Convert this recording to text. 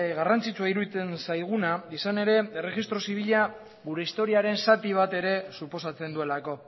garrantzitsua iruditzen zaiguna izan ere erregistro zibila gure historiaren zati bat ere suposatzen duelako